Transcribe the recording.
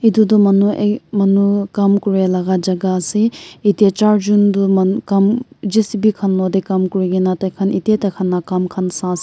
etu tu manu ek ek manu kam kori laga jagah ase jatte char jont tu kam J_C_B khan logot te kam kori kina tai khan ere na kam khan sai se.